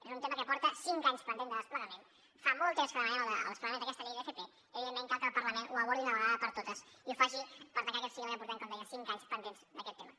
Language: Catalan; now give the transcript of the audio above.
és un tema que porta cinc anys pendent de desplegament fa molt temps que demanem el desplegament d’aquesta llei d’fp i evidentment cal que el parlament ho abordi d’una vegada per totes i ho faci per tancar aquest cicle que portem com deia cinc anys pendents d’aquest tema